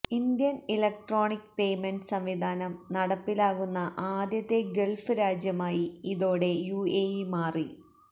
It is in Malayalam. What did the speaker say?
ഇന്ത്യൻ ഇലക്ട്രോണിക് പേയ്മെന്റ് സംവിധാനം നടപ്പിലാകുന്ന ആദ്യത്തെ ഗൾഫ് രാജ്യമായി ഇതോടെ യു എ ഇ മാറി